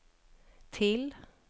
till